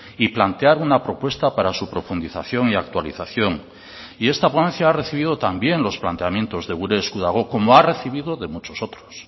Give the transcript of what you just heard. y plantear una propuesta para su profundización y actualización y esta ponencia ha recibido también los planteamientos de gure esku dago como ha recibido de muchos otros